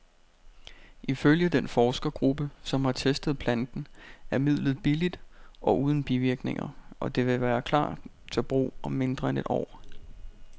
Ifølge den forskergruppe, som har testet planten, er midlet billigt og uden bivirkninger, og det vil klar til brug om mindre end et år.